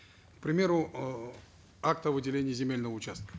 к примеру э акт о выделении земельного участка